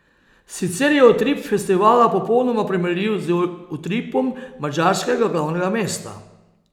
Sicer je utrip festivala popolnoma primerljiv z utripom madžarskega glavnega mesta.